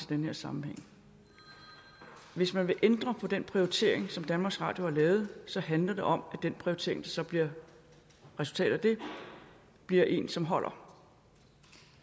den her sammenhæng hvis man vil ændre på den prioritering som danmarks radio har lavet så handler det om at den prioritering der så bliver resultatet af det bliver en som holder